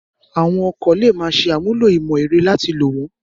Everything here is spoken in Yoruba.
Àwọn ọkọ̀ lè máa ṣe àmúlò ìmọ̀ ẹ̀rọ láti lò wọ́n